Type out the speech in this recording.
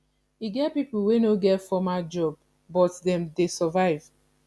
e get pipo wey no get formal job but dem dey survive